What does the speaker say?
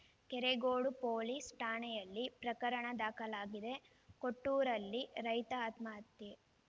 Keregodu police ಠಾಣೆಯಲ್ಲಿ ಪ್ರಕರಣ ದಾಖಲಾಗಿದೆ ಕೊಟ್ಟೂರಲ್ಲಿ ರೈತ ಆತ್ಮಹತ್ಯೆ